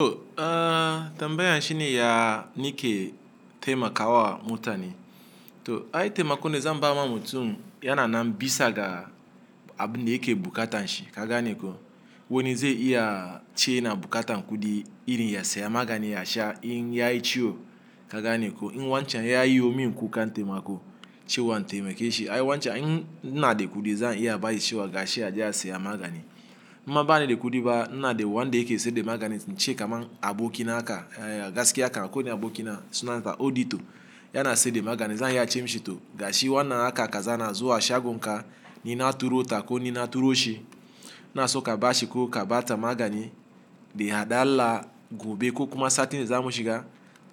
To ahh tambayan shine ya nike taimakawa mutane to ai taimakon da zan ba ma mutum yana nan bisa ga abin da yake bukatanshi ka gane ko wani zai iya ce yana bukatan kuɗi irin ya saya magani ya sha in ya yi ciwo ka gane ko in wancan ya yiwo min kuka taimako cewa in taimake shi ai wancan in ina de kuɗi zan iya ba shi cewa gashi aje a siya magani in ma bani da kuɗi ba ina de wanda yake siyar da maganin ince kaman aboki na haka ah gaskiya kam akwai wani aboki na sunan sa Odito yana siyar da magani zan iya ce mishi to gashi wannan haka kaza na zuwa shagon ka ni na turo ta ko ni na turo shi ina so ka bashi ko ka bata magani daihaɗalla gobe ko kuma satin da za mu shiga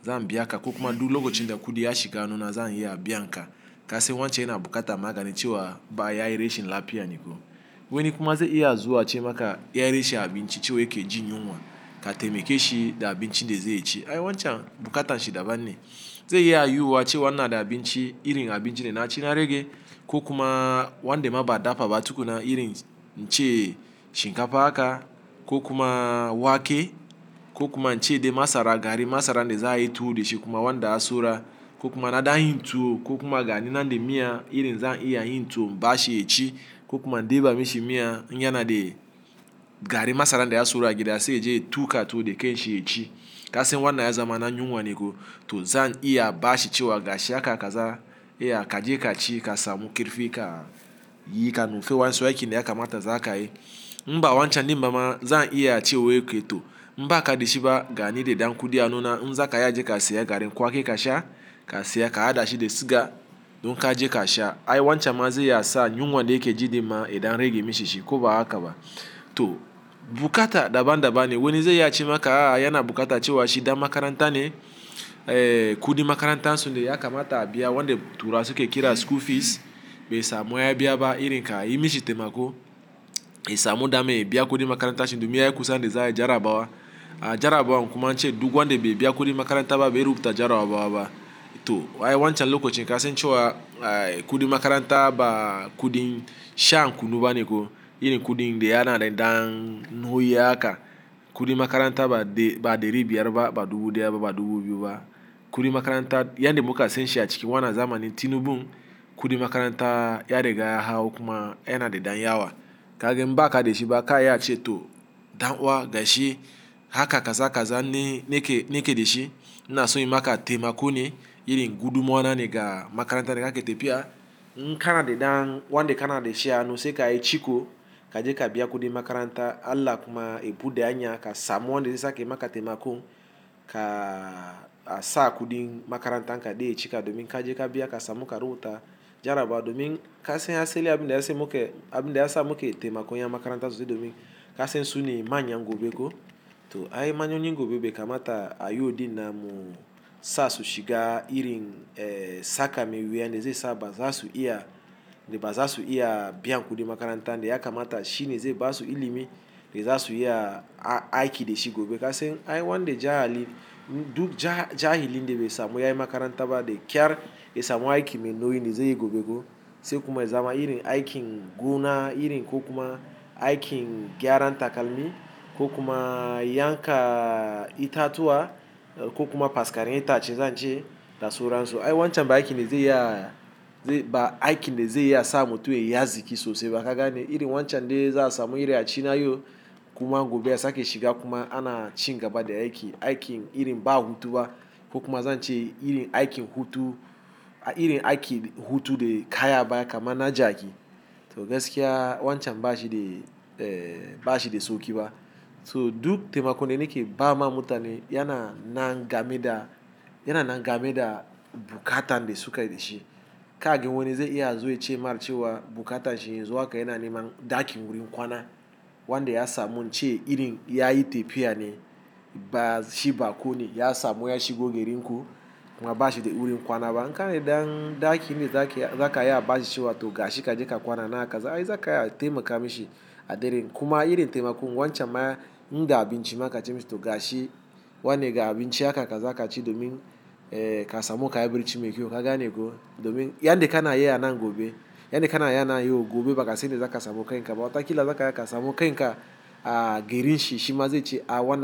zan biya ka ko kuma duk lokacin da kuɗi ya shiga hanuna zan iya biyanka. Kasain wancan yana bukata magani cewa ba ya yi rashin lafiya ne ko wani kuma zai iya zuwa ce maka ya yi rashin abinci cewa yake jin yunwa ka taimake shi da abincin da zai ci ii wancan bukatan shi daban ne ze iya yiwuwu cewa ina da abinci irin abincin da naci na rage ko kuma wanda ma ba a dafa ba tukuna irin ince shinkafa haka ko kuma wake ko kuma ince dai masara garin masaran da za a yi tuwo da shi kuma wanda ya sora ko kuma na da yin tuwo ko kuma gani nan da miya irin zan iya yin to in ba shi ya ci ko kuma in ɗeba mishi miya in yana de garin masaran da ya sora a gida sai ya je ya tuka tuwo da kan shi ya ci Kasain wannan ya zama na yinwa ne ko to zan iya ba shi cewa gashi haka kaza iya ka je ka ci ka samu kerfi ka yi ka nufi waƴansu aikin da yakamata za ka yi. In ba wancan ɗin bamabzan iya ce wai ke to in ba ka da shi ba ga ni da ɗan kuɗi a hanuna in za ka iya je ka siya garin kwaki ka sha ka siya ka hada shi da siga don ka je ka sha. Ai wancan ma zai ya sa yunwan da yake ji din ma yadan rage mishi shi ko ba haka ba to, bukata daban daban ne. Wani zai iya ce maka a a yana bukata cewa shi dan makaranta ne eh kuɗin makarantansun de ya kamata a biya wanda turawa suke kira school fees bai samu ya biya ba irin ka yi mishi taimako. Ya samu dama ya biya kuɗin makarantanshi domin ya yi kusan da za ayi jarabawa a jarabawan kuma ance duk wanda be biya kudin makaranta ba ba zai rubuta jarabawa ba to ai wancan lokacin kasain cewa ai kuɗin makaranta ba kuɗin shan kunu ba ne ko irin kuɗin da yana da ɗan noyi haka kuɗin makaranta ba ɗeri biyar ba ba dubu ɗaya ba ba dubu biyu ba kuɗin makaranta yan da muka san shi a cikin wannan zamanin tinubun kuɗin makaranta ya riga ya hau kuma yana da ɗan yawa. Ka ga in ba ka da shi ba ka iya ce to dan'uwa gashi haka kaza kaza ni nake nake da shi ina so inyi maka taimako ne irin godumawa na ne ga makaranta da kake tafiya. In kana da ɗan wanda kana da shi a hanu sai ka yi ciko ka je ka biya kuɗin makaranta Allah kuma ya buɗe hanya ka samu wanda zai sake maka taimako ka sa kuɗin makarantan ka dai ya cika domin ka je ka biya ka samu karubuta jarabawa domin kasain asaili abin da ya sa muke abin da ya sa muke taimakon yan makaranta su zo domin kasain su ne manyan gobe ko to ai manyoyin gobe be kamata a yo ɗinnan mu sa su shiga irin eh saka mai wuya da zai sa ba zasu iya da ba zasu iya biyan kuɗin makarantan de ya kamata shi ne zai basu ilimi da zasu iya aiki da shi gobe Kasain ai wanda jahali duk ja jahilin da bai samu yayi makaranta ba da ƙyar ya samu aiki mai nauyin da zai yi gobe ko sai kuma ya zama irin aikin gona irin ko kuma aikin gyaran takalmi ko kuma yanka itatuwa ko kuma faskaren itace zan ce da suransu ai wancan ba aiki ne zai iya ba aikin de zai iya sa mutum ya yi azziki sosai ba ka gane. Irin wancan dai za a samu irin a ci nayo kuma gobe a sake shiga kuma ana cin gaba da aiki aikin irin ba hutu ba ko kuma zan ce irin aikin hutu a irin aikin hutu da kayi a baya kaman na jaki to gaskiya wancan ba shi dai eh ba shi dai sauƙi ba to duk taimakon da nake ba ma mutane yana nan game da ya nanan game da buƙatan da suke dashi. Ka gan wani zai iya ya zo ya ce ma cewa buƙatan shi yanzu haka yana neman ɗakin wurin kwana wanda ya samu in ce irin ya yi tafiya ne ba shi bakone ya samu ya shigo gerin ku kuma ba shi da wurin kwana ba in kana da ɗan ɗaki in de zaka iya zaka iya ba shi cewa to gashi ka je ka kwana nan a kaza ai za ka iya taimaka mishi a daren kuma irin taimakon wancan ma in da abinci ma ka ce mishi to gashi wannan ga abinci haka kaza ka ci domin eh ka samu ƙayi birci mai kyau ka gane ko domin yan da kana yi a nan gobe, yan da kana yi a nan yau gobe baka sain inda za ka samu ƙain kaba. Wataƙila za ka iya ka sa mu ƙain ka a gerin shi shi ma zai ce a wannan.